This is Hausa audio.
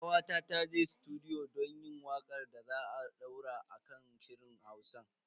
Kawata ta je sutudiyo don yin wakar da za a daura a kan shirin Hausan.